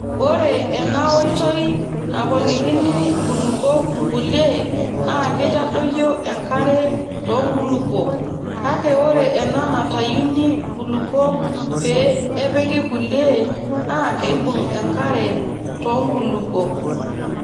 Ore ena oitoi naponikini nkulupuok nkulie naa keitadoyio enkare too nkulupuok kake ore ena natayuni nkulupuok pii nepiki kulie naa keibung' enkare too nkulupuok.